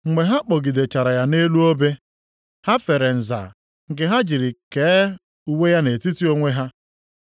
Mgbe ha kpọgidechara ya nʼelu obe. Ha fere nza nke ha jiri kee uwe ya nʼetiti onwe ha. + 27:35 Imezu ihe e dere nʼAbụ Ọma 22:18.